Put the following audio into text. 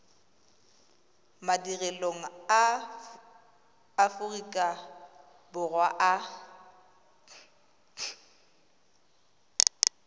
madirelong a aforika borwa a